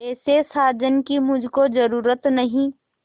ऐसे साजन की मुझको जरूरत नहीं